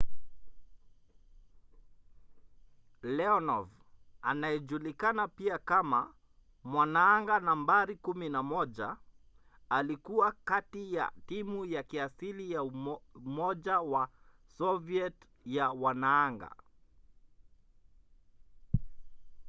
leonov anayejulikana pia kama mwanaanga nambari 11” alikuwa kati ya timu ya kiasili ya umoja wa soviet ya wanaanga